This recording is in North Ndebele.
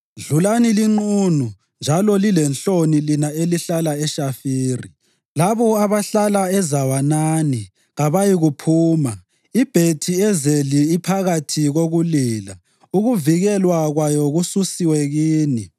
Dlulani linqunu njalo lilenhloni lina elihlala eShafiri. Labo abahlala eZawanani kabayikuphuma. IBhethi-Ezeli iphakathi kokulila; ukuvikelwa kwayo kususiwe kini.